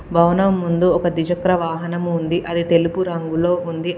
భవనం ముందు ఒక ద్విచక్ర వాహనం ఉంది అది తెలుపు రంగులో ఉంది.